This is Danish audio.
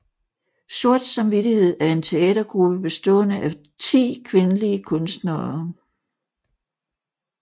Sort Samvittighed er en teatergruppe bestående af 10 kvindelige kunstnere